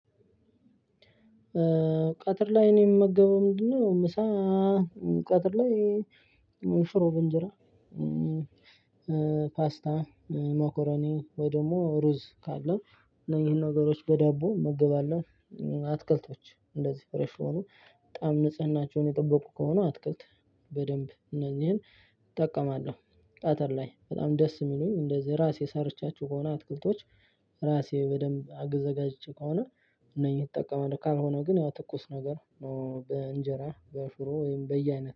ቀትር ላይ እኔ የምመገበው ምንድነው? ምሳ ቀትር ላይ ሽሮ በእንጄራ። ፓስታ ሞኮሮኒ ወይ ደግሞ ሩዝ ካለ እነዚህን ነገሮች በዳቦ እመገባለው። አትክልቶች እንደዚህ ፍሬሽ የሆኑ በጣም ንጽህናቸውን የጠበቁ ከሆኑ አትክልት በደንብ እነዚህን እጠቀማለሁ። ቀትር ላይ በጣም ደስ የሚሉኝ እንደዚህ እራሴ ሰርቻቸው ከሆነ አትክልቶች። እራሴ በደንብ አዘገጃጅቼ ከሆነ እነኚህን እጠቀማለሁ ካልሆነ ግን ያው ትኩስ ነገር በእንጄራ በሽሮ ወይም በየአይነት